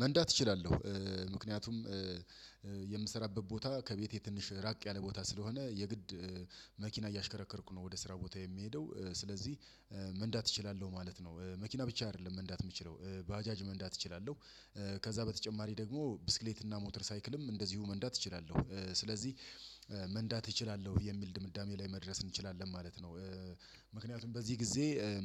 መንዳት እችላለሁ። ምክንያቱም የምሰራበት ቦታ ከቤቴ ትንሽ ራቅ ያለ ቦታ ስለሆነ የግድ መኪና እያሽከረከርኩ ነው ወደ ስራ ቦታ የምሄደው። ስለዚህ መንዳት እችላለሁ ማለት ነው። መኪና ብቻ አይደለም መንዳት የምችለው ባጃጅ መንዳት እችላለሁ። ከዛ በተጨማሪ ደግሞ ብስክሌት እና ሞተር ሳይክልም እንደዚሁ መንዳት እችላለሁ። ስለዚህ መንዳት እችላለሁ የሚል ድምዳሜ ላይ መድረስ እንችላለን ማለት ነው። ምክንያቱም በዚህ ግዜ